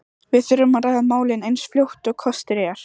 Við þurfum að ræða málin eins fljótt og kostur er.